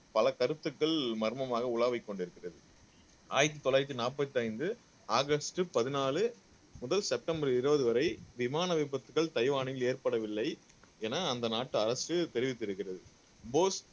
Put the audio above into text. பல கருத்துக்கள் மர்மமாக உலாவிக் கொண்டிருக்கிறது ஆயிரத்தி தொள்ளாயிரத்தி நாற்பத்தி ஐந்து ஆகஸ்ட் பதினாலு முதல் செப்டம்பர் இருபது வரை விமான விபத்துகள் தைவானில் ஏற்படவில்லை என அந்த நாட்டு அரசு தெரிவித்திருக்கிறது போஸ்